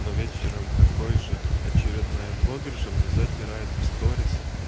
ну вечером такой же очередная блогерша мне затирает в сторис